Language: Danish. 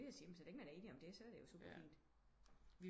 Jeg skulle lige til at sige så længe man er enige om det så er det jo super fint